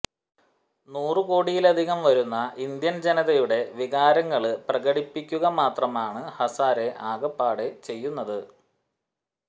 നൂറു കോടിയിലധികം വരുന്ന ഇന്ത്യന് ജനതയുടെ വിചാരവികാരങ്ങള് പ്രകടിപ്പിക്കുക മാത്രമാണ് ഹസാരെ ആകപ്പാടെ ചെയ്യുന്നത്